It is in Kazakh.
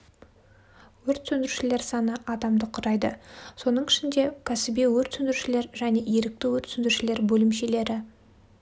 өрт сөндірушілер саны адамды құрайды соның ішінде кәсіби өрт сөндірушілер және ерікті өрт сөндірушілер бөлімшелері